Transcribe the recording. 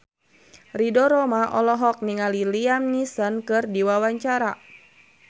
Ridho Roma olohok ningali Liam Neeson keur diwawancara